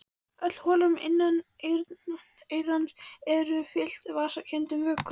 Öll holrúm inneyrans eru fyllt vessakenndum vökvum.